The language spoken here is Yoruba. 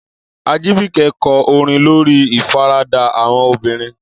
Ajibike kọ orin lórí ìfaradà àwọn obìnrin.